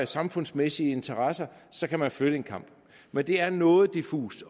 samfundsmæssige interesser så kan man flytte en kamp men det er noget diffust